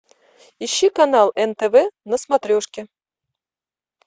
ищи канал нтв на смотрешке